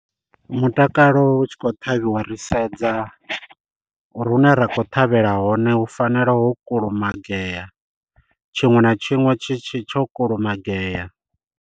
Mutakalo u tshi khou ṱhavhiwa ri sedza uri hune ra khou ṱhavhela hone hu fanela ho kulumagea, tshiṅwe na tshiṅwe tshi tshi tsho kulumagea.